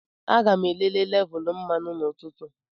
Aga m elele lévulú mmanụ n'ụtụtụ